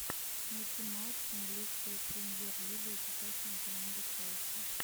найти матч с английской премьер лигой с участием команды челси